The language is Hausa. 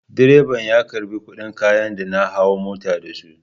Direba ya karɓi kuɗin kayan da na hau mota da su.